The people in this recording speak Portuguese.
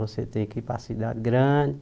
Você tem que ir para a cidade grande.